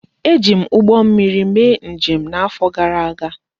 E ji m ụgbọ mmiri mee njem n'afọ gara aga